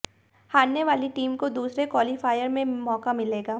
हारने वाली टीम को दूसरे क्वालीफायर में मौका मिलेगा